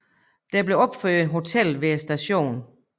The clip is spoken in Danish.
Der blev opført hotel ved stationen